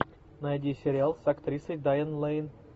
найди сериал с актрисой дайан лэйн